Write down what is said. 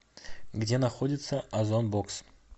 где находится озон бокс